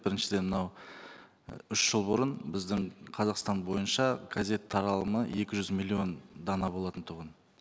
біріншіден мынау үш жыл бұрын біздің қазақстан бойынша газет таралымы екі жүз миллион дана болатын тұғын